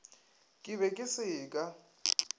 ke be ke se ka